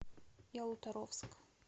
ялуторовск